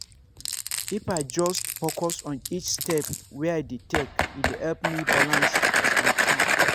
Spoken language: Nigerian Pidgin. if i just focus on each step wey i dey take e dey help me balance and calm.